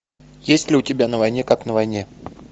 есть ли у тебя на войне как на войне